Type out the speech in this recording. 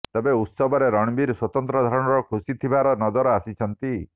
ତେବେ ଉତ୍ସବରେ ରଣବୀର ସ୍ୱତନ୍ତ୍ର ଧରଣର ଖୁସି ଥିବାର ନଜର ଆସିଛନ୍ତି